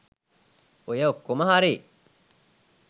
ඔය ඔක්කොම හරි